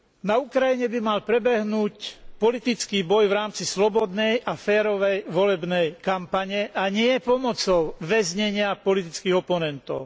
Na Ukrajine by mal prebehnúť politický boj v rámci slobodnej a férovej volebnej kampane, a nie pomocou väznenia politických oponentov.